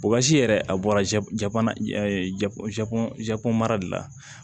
yɛrɛ a bɔra jago mara de la